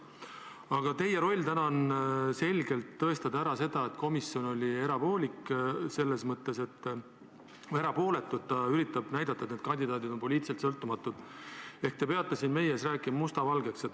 Aga teie roll täna on selgelt tõestada ära, et komisjon oli erapooletu – ta üritas näidata, et need kandidaadid on poliitiliselt sõltumatud –, ehk te peate siin meie ees rääkima musta valgeks.